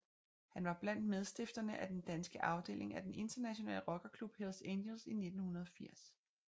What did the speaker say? Han var blandt medstifterne af den danske afdeling af den internationale rockerklub Hells Angels i 1980